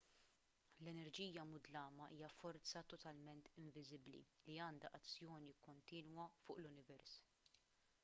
l-enerġija mudlama hija forza totalment inviżibbli li għandha azzjoni kontinwa fuq l-univers